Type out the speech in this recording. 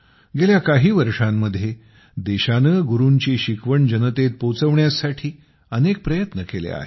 गेल्या काही वर्षांमध्ये देशाने गुरूंची शिकवण जनतेत पोहोचविण्यासाठी अनेक प्रयत्न केले आहेत